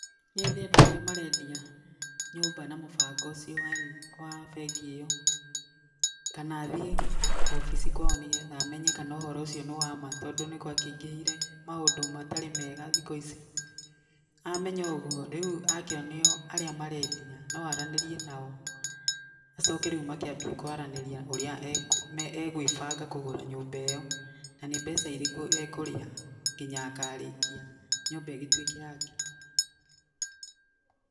Nyethe andũ arĩa marendia nyũmba na mũbango ũcio wa bengi ĩyo, kana thiĩ wabici kwao nĩgetha menye kana ũhoro ũcio nĩ wama tondũ nĩ gwakĩingĩhire maũndũ matarĩ mega thikũ ici, amenya ũguo, rĩu akĩonio arĩa marendia, no aranĩrie nao, acoke rĩu makĩambie kwaranĩria ũrĩa egwĩbanga kũgũra nyũmba ĩyo, na nĩ mbeca irĩkũ ekũrĩha nginya akarĩkia nyũmba ĩgĩtuĩke yake.